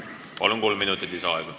Palun, kolm minutit lisaaega!